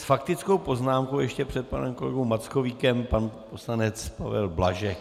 S faktickou poznámkou ještě před panem kolegou Mackovíkem pan poslanec Pavel Blažek.